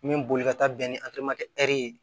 Min boli ka taa bɛn ni hɛri ye